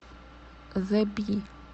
зе би